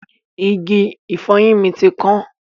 Igi ìfọyín mi ti kan.